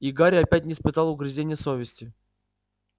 и гарри опять испытал угрызения совести